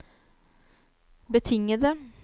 betingede